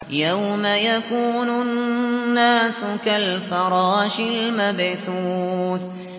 يَوْمَ يَكُونُ النَّاسُ كَالْفَرَاشِ الْمَبْثُوثِ